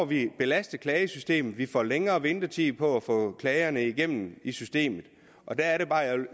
vi et belastet klagesystem og vi får længere ventetid på at få klagerne igennem i systemet og der er det bare